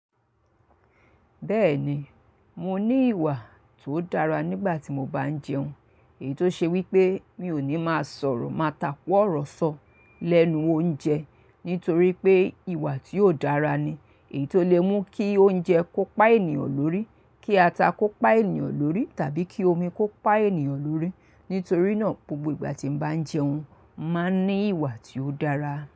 Bẹ́ẹ̀ni, mo ní ìwà tó dára nígbà tí mo bá ń jẹun. Èyí tó ṣe wípé mi ò ní má sọ̀rọ̀ máa takù ọ̀rọ̀ sọ lẹ́nu oúnjẹ nítorí pé ìwà tí óò dára ni. Èyí tó lè mú kí oúnjẹ kó pa ènìyàn lórí, kí ata kó pa ènìyàn lórí tàbí kí omi kó pa ènìyàn lórí. Nítorí náà gbogbo ìgbà tí mo bá ń jẹun, máa ní ìwà tí ó dára.